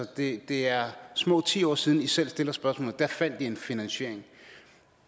det det er små ti år siden at i selv stillede spørgsmålet og der fandt i en finansiering